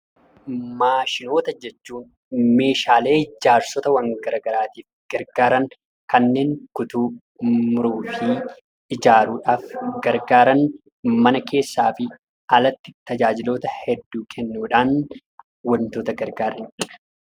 Maashinoota jechuun meeshaalee ijaarsota gara garaaf gargaaran kanneen kutuu, muruufi ijaaruudhaaf gargaaran, kanneen mana keessaafi alatti tajaajiloota hedduu kennuudhaaan wantoota tajaajilanidha.